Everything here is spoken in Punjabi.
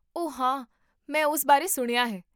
ਓਹ ਹਾਂ ਮੈਂ ਉਸ ਬਾਰੇ ਸੁਣਿਆ ਹੈ